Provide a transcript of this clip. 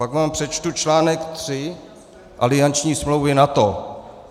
Pak vám přečtu článek 3 alianční smlouvy NATO.